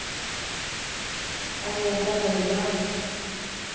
Agneta Nyman